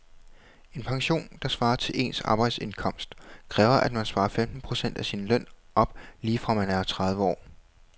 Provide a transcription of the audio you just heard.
En pension, der svarer til ens arbejdsindkomst, kræver at man sparer femten procent af sin løn op lige fra man er tredive år.